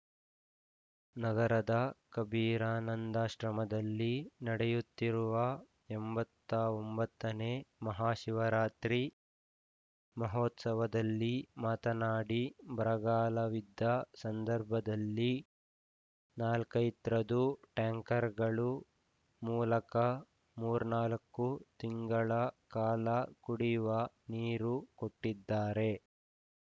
ನಗರದ ಕಬೀರಾನಂದಾಶ್ರಮದಲ್ಲಿ ನಡೆಯುತ್ತಿರುವ ಎಂಬತ್ತ ಒಂಬತ್ತನೇ ಮಹಾಶಿವರಾತ್ರಿ ಮಹೋತ್ಸವದಲ್ಲಿ ಮಾತನಾಡಿ ಬರಗಾಲವಿದ್ದ ಸಂದರ್ಭದಲ್ಲಿ ನಾಲ್ಕೆತ್ರೖದು ಟ್ಯಾಂಕರ್‌ಗಳ ಮೂಲಕ ಮೂರ್ನಾಲ್ಕು ತಿಂಗಳ ಕಾಲ ಕುಡಿಯುವ ನೀರು ಕೊಟ್ಟಿದ್ದಾರೆ